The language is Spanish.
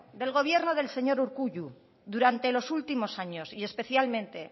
del gobierno del señor urkullu durante los últimos años y especialmente